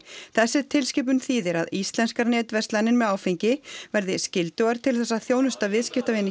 þessi tilskipun þýðir að íslenskar netverslanir með áfengi verði skyldugar til þess að þjónusta viðskiptavini